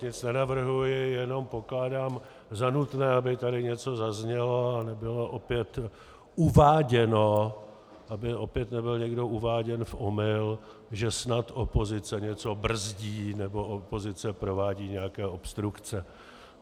Nic nenavrhuji, jenom pokládám za nutné, aby tady něco zaznělo a nebylo opět uváděno, aby opět nebyl někdo uváděn v omyl, že snad opozice něco brzdí nebo opozice provádí nějaké obstrukce.